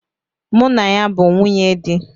Mụ na ya bu nwunye di